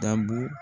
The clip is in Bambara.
Dabu